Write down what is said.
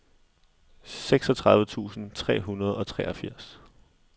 seksogtredive tusind tre hundrede og treogfirs